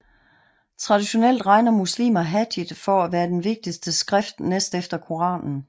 Traditionelt regner muslimer Hadith for at være det vigtigste skrift næst efter Koranen